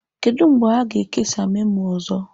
Kedu mgbe a ga-ekesa memo ọzọ?